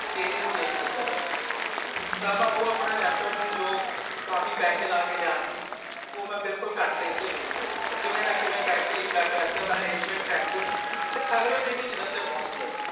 ਕੇ ਇਹਨੂੰ ਵੇਚ ਦਿਤਾ ਜਾਏ ਤਾਂ ਮੈਂ ਓ ਜੋ ਆਪਣਾ laptop ਸੀ ਜੋ ਕਾਫੀ ਪੈਸੇ ਲਾਕੇ ਲਿਆ ਸੀ ਓਹ ਮੈਂ ਕਾਫੀ ਘੱਟ ਰੇਟ ਚ ਵੇਚ ਤਾ ਕਿਵੇਂ ਨਾ ਕਿਵੇਂ ਮੈਂ ਪੈਸਿਆਂ ਦਾ arrangement ਕਰਕੇ ਤੇ ਅਗਲੇ ਦਿਨ ਹੀ ਜਲੰਧਰ ਪੌਂਚ ਗਯਾ ਜੀ